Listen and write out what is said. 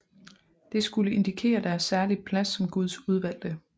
Det skulle indikere deres særlige plads som guds udvalgte